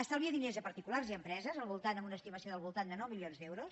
estalvia diners a particulars i empreses amb una estimació del voltant de nou milions d’euros